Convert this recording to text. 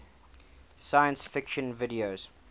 science fiction video